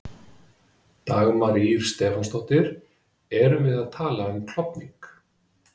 Dagmar Ýr Stefánsdóttir: Erum við að tala um klofning?